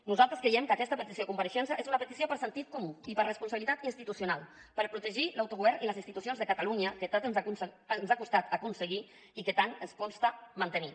nosaltres creiem que aquesta petició de compareixença és una petició per sentit comú i per responsabilitat institucional per protegir l’autogovern i les institucions de catalunya que tant ens ha costat aconseguir i que tant ens costa mantenir